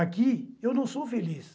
Aqui eu não sou feliz.